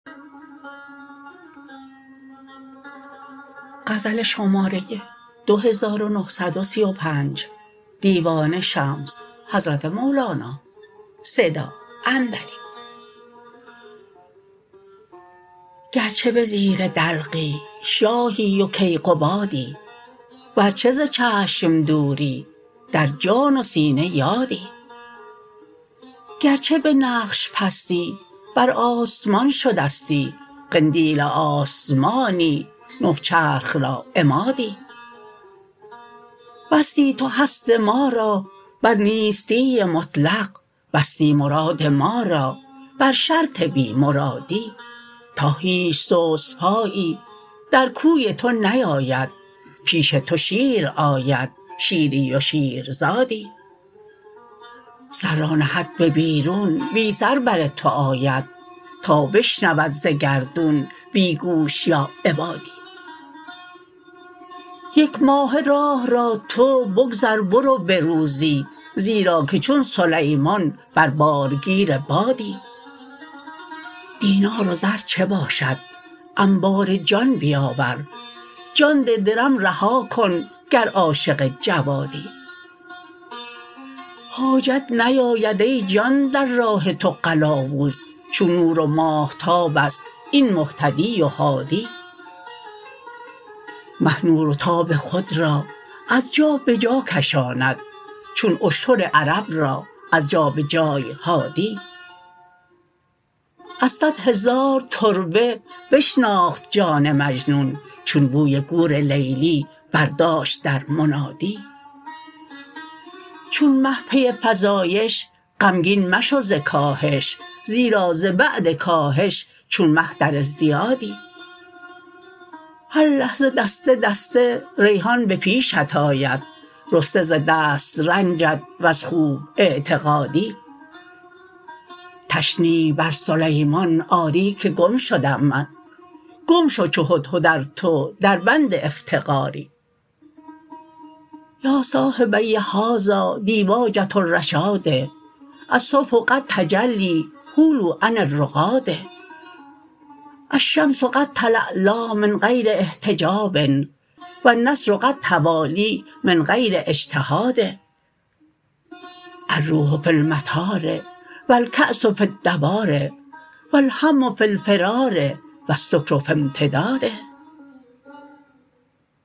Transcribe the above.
گرچه به زیر دلقی شاهی و کیقبادی ورچه ز چشم دوری در جان و سینه یادی گرچه به نقش پستی بر آسمان شدستی قندیل آسمانی نه چرخ را عمادی بستی تو هست ما را بر نیستی مطلق بستی مراد ما را بر شرط بی مرادی تا هیچ سست پایی در کوی تو نیاید پیش تو شیر آید شیری و شیرزادی سر را نهد به بیرون بی سر بر تو آید تا بشنود ز گردون بی گوش یا عبادی یک ماهه راه را تو بگذر برو به روزی زیرا که چون سلیمان بر بارگیر بادی دینار و زر چه باشد انبار جان بیاور جان ده درم رها کن گر عاشق جوادی حاجت نیاید ای جان در راه تو قلاوز چون نور و ماهتاب است این مهتدی و هادی مه نور و تاب خود را از جا به جا کشاند چون اشتر عرب را از جا به جای حادی از صد هزار تربه بشناخت جان مجنون چون بوی گور لیلی برداشت در منادی چون مه پی فزایش غمگین مشو ز کاهش زیرا ز بعد کاهش چون مه در ازدیادی هر لحظه دسته دسته ریحان به پیشت آید رسته ز دست رنجت وز خوب اعتقادی تشنیع بر سلیمان آری که گم شدم من گم شو چو هدهد ار تو دربند افتقادی یا صاحبی هذا دیباجه الرشاد الصبح قد تجلی حولوا عن الرقاد الشمس قد تلالا من غیر احتجاب و النصر قد توالی من غیر اجتهاد الروح فی المطار و الکأس فی الدوار و الهم فی الفرار و السکر فی امتداد